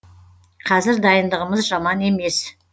қазір дайындығымыз жаман емес